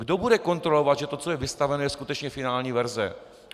Kdo bude kontrolovat, že to, co je vystaveno, je skutečně finální verze?